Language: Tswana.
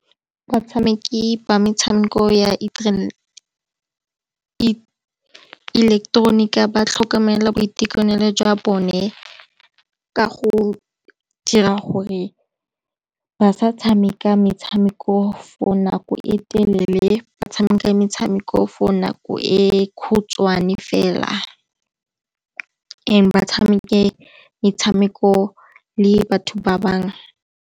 Batshameki ba metshameko ya ileketeronika ba tlhokomela boitekanelo jwa bone ka go dira gore ba sa tshameka metshameko for nako e telele, ba tshameka metshameko for nako e khutshwane fela, and ba tshameke metshameko le batho ba bangwe.